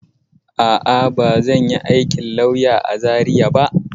A'a, ba zan yi aikin lauya a Zariya ba.